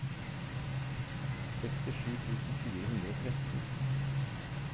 sekstisju tusen fire hundre og tretten